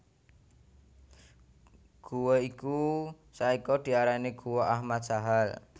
Gua iku saiki diarani Guwa Ahmad Sahal